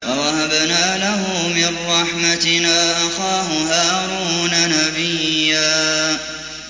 وَوَهَبْنَا لَهُ مِن رَّحْمَتِنَا أَخَاهُ هَارُونَ نَبِيًّا